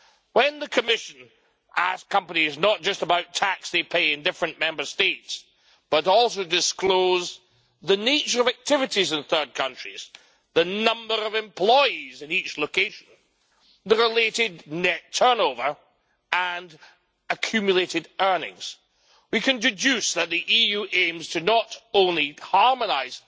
When the Commission asks companies not just about tax they pay in different Member States, but also to disclose the nature of activities in third countries the number of employees in each location, the related net turnover and accumulated earnings we can deduce that the EU aims to not only harmonise